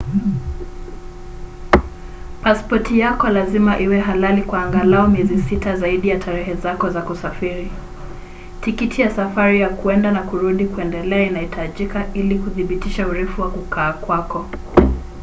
pasipoti yako lazima iwe halali kwa angalau miezi 6 zaidi ya tarehe zako za kusafiri. tikiti ya safari ya kwenda na kurudi/kuendelea inahitajika ili kudhibitisha urefu wa kukaa kwako